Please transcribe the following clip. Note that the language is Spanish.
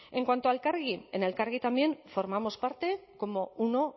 en cuanto a elkargi en elkargi también formamos parte como uno